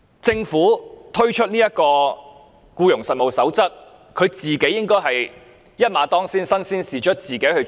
"政府推出《守則》，便應該一馬當先，身先士卒，自己落實執行。